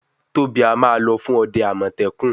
Tobi a má ló fún òde amọtẹkun.